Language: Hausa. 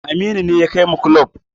Aminu ne ya kai mu kulob